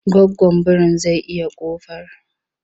Goggon biri zai iya ƙofar.